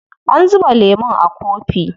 An zuba lemun a kofi.